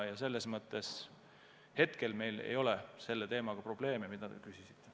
Ja selles mõttes meil hetkel ei ole selle teemaga probleeme, mille kohta te küsisite.